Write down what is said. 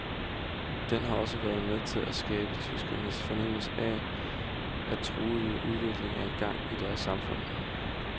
Den har også været med til at skærpe tyskernes fornemmelse af, at en truende udvikling er i gang i deres samfund.